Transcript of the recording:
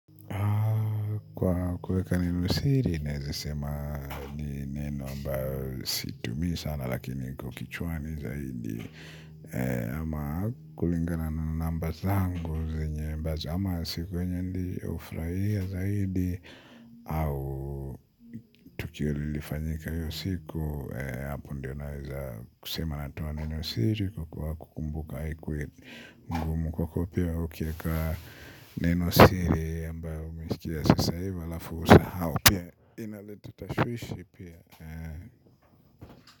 Kwa kuweka neno siri, naezasema ni neno ambayo situmii sana lakini iko kichwani zaidi. Ama kulingana na namba zangu zenye ambazo ama siku yenye nilifraia zaidi. Au tukio lilifanyika hiyo siku, apo ndio naeza kusema natoa neno siri kwa kukumbuka ikuwe mgumu kwako pia ukieka neno siri ambaloumesikia sasa hivi halafu usahau ina leta tashwishi pia.